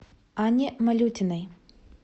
анне малютиной